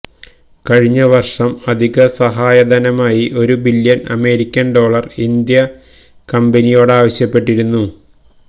കഴിഞ്ഞവര്ഷം അധിക സഹായധനമായി ഒരു ബില്ല്യണ് അമേരിക്കന് ഡോളര് ഇന്ത്യ കമ്പനിയോടാവശ്യപ്പെട്ടിരുന്നു